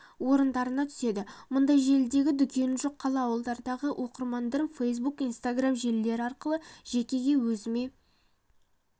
орындарына түседі мұндай желідегі дүкені жоқ қала ауылдардағы оқырмандарым фейсбук инстаграм желілері арқылы жекеге өзіме